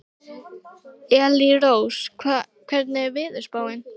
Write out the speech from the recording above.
Elírós, hvernig er veðurspáin?